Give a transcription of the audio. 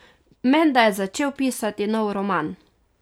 Menda je začel pisati nov roman.